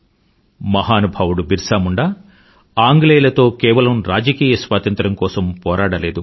మహానుభావుడు బిర్సా ముండా ఆంగ్లేయులతో కేవలం రాజకీయ స్వాతంత్రం కోసం పోరాడలేదు